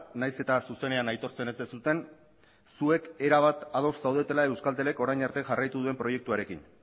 nahiz eta zuzenean aitortzen ez duzuen zuek erabat ados zaudetela euskaltelek orain arte jarraitu duen proiektuarekin